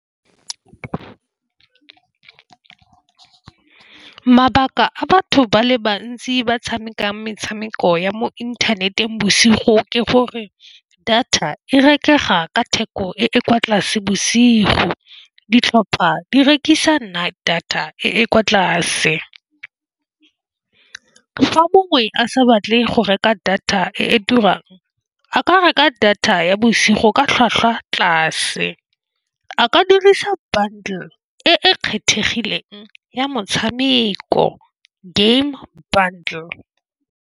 Mabaka a batho ba le bantsi ba tshamekang metshameko ya mo inthaneteng bosigo, ke gore data e rekega ka theko e e kwa tlase bosigo. Ditlhopha di rekisa night data e e kwa tlase fa mongwe a sa batle go reka data e e turang, a ka reka data ya bosigo ka tlhwatlhwa tlase a ka dirisa bundle e e kgethegileng ya motshameko game bundle.